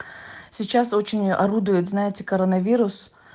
сейчас очень орудует знаете коронавирус